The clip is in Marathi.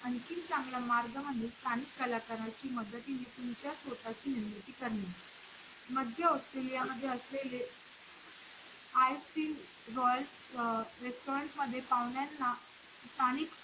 आणखीन चांगलं मार्ग म्हणजे स्थानिक कलाकाराच्या मदतीने तुमच्या स्वतःची निर्मिती करणे मध्य ऑस्ट्रेलिया मध्ये असलेले Eiffel Royal restaurant मध्ये पाहुण्यांना स्थानिक